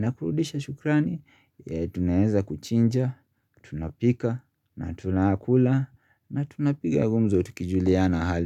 Nakurudisha shukrani Tunayeza kuchinja Tunapika Natunakula na tunapiga gumzo tukijulia na hali.